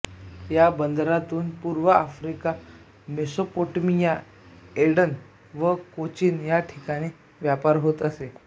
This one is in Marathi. या बंदरातून पूर्व आफ्रिका मेसोपोटेमिया एडन व कोचीन या ठिकाणी व्यापार होत असे